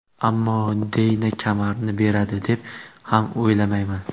Ammo Deyna kamarni beradi deb ham o‘ylamayman.